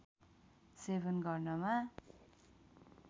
सेवन गर्नमा